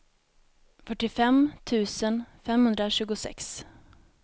fyrtiofem tusen femhundratjugosex